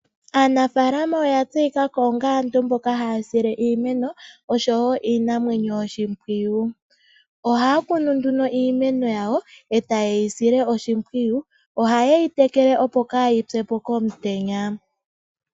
Aanafalama oyeli aantu mboka ya tseyika haya sile iimeno oshimpwiyu osho wo iinamwenyo oshimpwiyu. Ohaya kunu nduno iimeno yawo, eta yeyi sile oshimpwiyu. Oha yeyi tekele opo kayi pyepo komutenya.